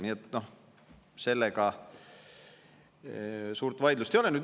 Nii et sellega suurt vaidlust ei ole.